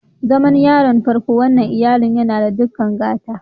Zaman yaron farkon wannan iyallin, n'na da dukan gata.